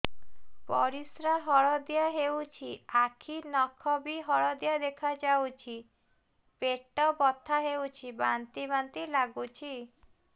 ପରିସ୍ରା ହଳଦିଆ ହେଉଛି ଆଖି ନଖ ବି ହଳଦିଆ ଦେଖାଯାଉଛି ପେଟ ବଥା ହେଉଛି ବାନ୍ତି ବାନ୍ତି ଲାଗୁଛି